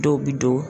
Dɔw bi don